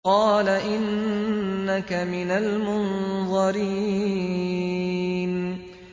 قَالَ إِنَّكَ مِنَ الْمُنظَرِينَ